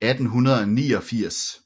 1889